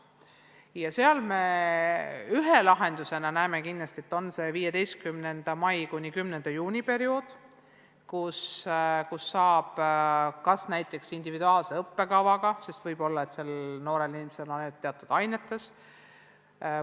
Siin me näeme ühe lahendusena kindlasti seda, et 15. maist kuni 10. juunini on periood, kus saab jätkata näiteks individuaalse õppekavaga, sest võib-olla on sellel noorel inimesel ainult teatud ainetes mahajäämus.